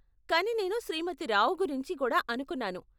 కానీ నేను శ్రీమతి రావు గురించి కూడా అనుకున్నాను.